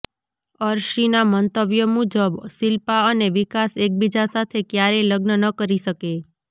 અર્શીના મંતવ્ય મુજબ શિલ્પા અને વિકાસ એકબીજા સાથે ક્યારેય લગ્ન ન કરી શકે